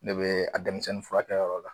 Ne be a denmisɛnnin furakɛ yɔrɔ la